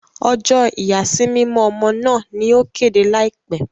Ọjọ ìyàsímímọ ọmọ náà ni o kéde laipẹ